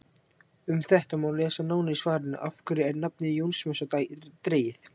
Um þetta má lesa nánar í svarinu Af hverju er nafnið Jónsmessa dregið?